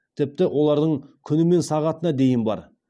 тіпті олардың күні мен сағатына дейін бар